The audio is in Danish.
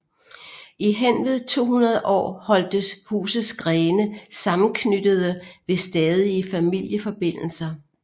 I henved 200 år holdtes husets grene sammenknyttede ved stadige familieforbindelser